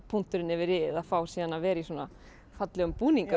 punkturinn yfir i ið að fá að vera í svona fallegum búningum